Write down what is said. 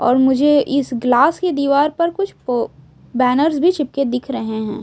और मुझे इस ग्लास की दीवार पर कुछ वो बैनर्स भी चिपके दिख रहे हैं।